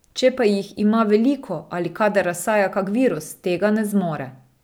Če pa jih ima veliko ali kadar razsaja kak virus, tega ne zmore.